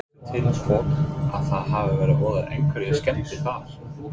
Veistu til hvort að það hafi orðið einhverjar skemmdir þar?